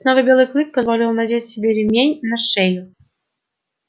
снова белый клык позволил надеть себе ремень на шею